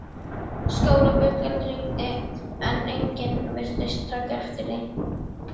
Skólabjallan hringdi en enginn virtist taka eftir því.